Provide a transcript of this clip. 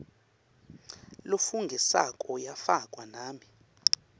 lofungisako yafakwa nami